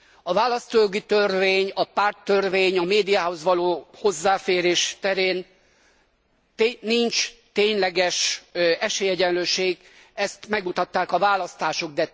A választójogi törvény, a párttörvény, a médiához való hozzáférés terén nincs tényleges esélyegyenlőség, ezt megmutatták a választások.